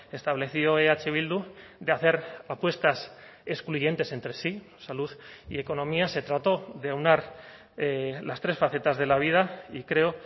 estableció eh bildu de hacer apuestas excluyentes entre sí salud y economía se trató de aunar las tres facetas de la vida y creo